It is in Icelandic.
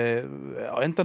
á endanum